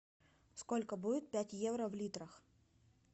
сколько будет пять евро в литрах